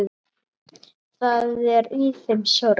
Það er í þeim sorg.